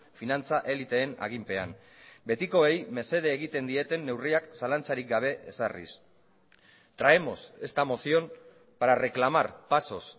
finantza eliteen aginpean betikoei mesede egiten dieten neurriak zalantzarik gabe ezarriz traemos esta moción para reclamar pasos